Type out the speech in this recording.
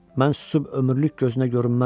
Mən susub ömürlük gözünə görünməzdim.